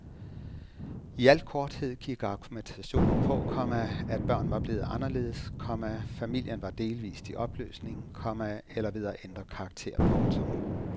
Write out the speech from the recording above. I al korthed gik argumentationen på, komma at børn var blevet anderledes, komma familien var delvist i opløsning, komma eller ved at ændre karakter. punktum